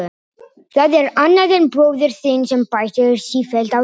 Það er annað en bróðir þinn sem bætir sífellt á sig.